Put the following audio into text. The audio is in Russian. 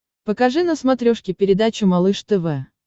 покажи на смотрешке передачу малыш тв